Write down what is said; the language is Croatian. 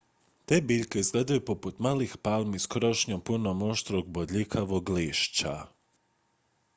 te biljke izgledaju poput malih palmi s krošnjom punom oštrog bodljikavog lišća